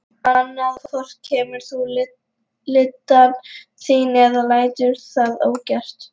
Annað hvort kemur þú lyddan þín eða lætur það ógert.